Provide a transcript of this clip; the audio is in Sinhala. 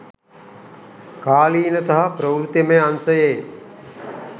කාලීන සහ ප්‍රවෘත්තිමය අංශයේ